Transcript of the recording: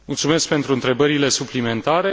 Mulțumesc pentru întrebările suplimentare.